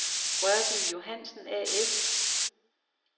Rørby Johansen A/S